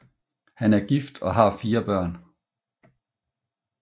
Han er gift og har fire børn